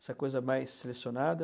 Essa coisa mais selecionada.